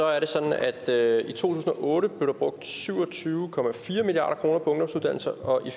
er det sådan at der i to tusind og otte blev brugt syv og tyve milliard kroner på ungdomsuddannelser og i